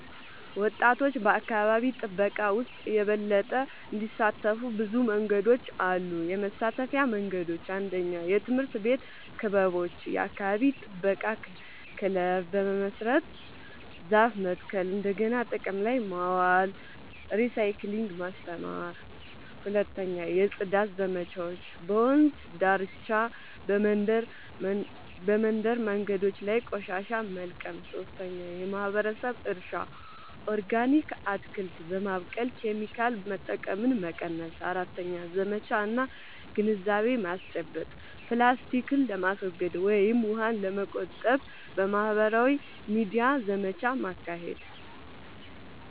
ወጣቶች በአካባቢ ጥበቃ ውስጥ የበለጠ እንዲሳተፉ ብዙ መንገዶች አሉ -የመሳተፊያ መንገዶች፦ 1. የትምህርት ቤት ክበቦች – የአካባቢ ጥበቃ ክለብ በመመስረት ዛፍ መትከል፣ እንደገና ጥቅም ላይ ማዋል (recycling) ማስተማር። 2. የጽዳት ዘመቻዎች – በወንዝ ዳርቻ፣ በመንደር መንገዶች ላይ ቆሻሻ መልቀም። 3. የማህበረሰብ እርሻ – ኦርጋኒክ አትክልት በማብቀል ኬሚካል መጠቀምን መቀነስ። 4. ዘመቻ እና ግንዛቤ ማስጨበጫ – ፕላስቲክን ለማስወገድ ወይም ውሃን ለመቆጠብ በማህበራዊ ሚዲያ ዘመቻ ማካሄድ።